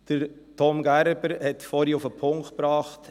Thomas Gerber hat es vorhin auf den Punkt gebracht.